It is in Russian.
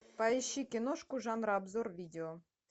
поищи киношку жанра обзор видео